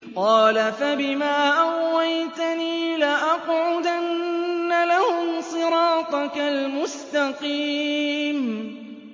قَالَ فَبِمَا أَغْوَيْتَنِي لَأَقْعُدَنَّ لَهُمْ صِرَاطَكَ الْمُسْتَقِيمَ